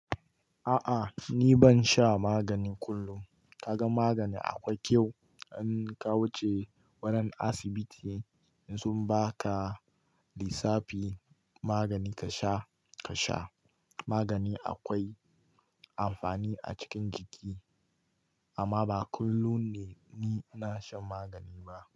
A'a ni ban sha magani kullum. Ka ga magani akwai kyau in ka wuce wannan asibiti sun baka lisafi magani ka sha, ka sha. Magani akwai amfani a cikin jiki amma ba kullum ne ni na shan magani ba.